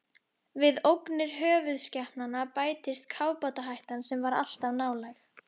Við ógnir höfuðskepnanna bættist kafbátahættan, sem var alltaf nálæg.